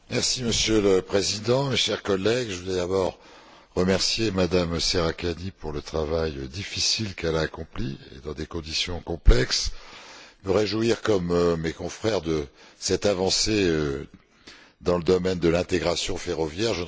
Monsieur le Président, chers collègues, je voudrais d'abord remercier Mme Serracchiani pour le travail difficile qu'elle a accompli, dans des conditions complexes, et me réjouir, comme mes confrères, de cette avancée dans le domaine de l'intégration ferroviaire.